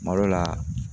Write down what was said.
Malo la